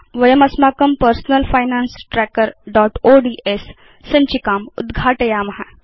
वयं अस्माकं personal finance trackerओड्स् सञ्चिकाम् उद्घाटयेम